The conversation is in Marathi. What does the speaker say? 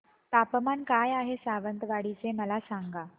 तापमान काय आहे सावंतवाडी चे मला सांगा